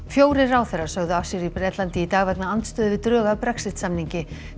fjórir ráðherrar sögðu af sér í Bretlandi í dag vegna andstöðu við drög að Brexit samningi